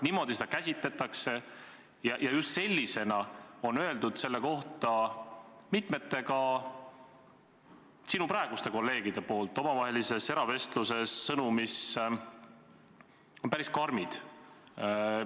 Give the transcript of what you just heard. Niimoodi seda käsitatakse ja just seda on eravestluses öelnud selle kohta ka mitmed sinu praegused kolleegid, sõnumid on päris karmid.